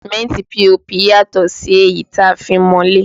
Sìmẹ́ntì POP yàtọ̀ sí èyí tí a fi ń mọ ilé